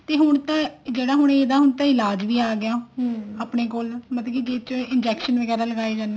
ਤੇ ਹੁਣ ਤਾਂ ਜਿਹੜਾ ਹੁਣ ਇਹਦਾ ਹੁਣ ਤਾਂ ਇਲਾਜ ਵੀ ਆਗਿਆ ਮਤਲਬ ਕੇ ਜਿਸ ਚ injection ਵਗੈਰਾ ਲਗਾਏ ਜਾਂਦੇ ਆ